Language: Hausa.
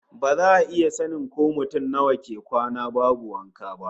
Ba za a iya sanin ko mutum nawa ke kwana babu wanka ba